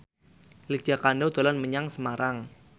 Lydia Kandou dolan menyang Semarang